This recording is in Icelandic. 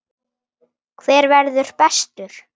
Hver verður bestur?